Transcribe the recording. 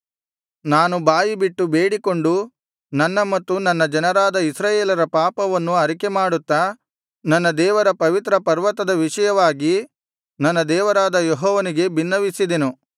ನಾನು ಬಾಯಿಬಿಟ್ಟು ಬೇಡಿಕೊಂಡು ನನ್ನ ಮತ್ತು ನನ್ನ ಜನರಾದ ಇಸ್ರಾಯೇಲರ ಪಾಪವನ್ನು ಅರಿಕೆ ಮಾಡುತ್ತಾ ನನ್ನ ದೇವರ ಪವಿತ್ರ ಪರ್ವತದ ವಿಷಯವಾಗಿ ನನ್ನ ದೇವರಾದ ಯೆಹೋವನಿಗೆ ಬಿನ್ನವಿಸಿದೆನು